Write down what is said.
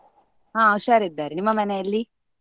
ಹಾ ಹುಷಾರ್ ಇದ್ದಾರೆ, ನಿಮ್ಮ ಮನೆಯಲ್ಲಿ?